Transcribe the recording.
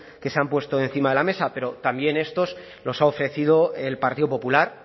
que se han puesto encima de la mesa pero también estos los ha ofrecido el partido popular